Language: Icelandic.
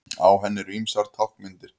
Á henni eru ýmsar táknmyndir.